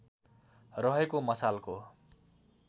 रहेको मसालको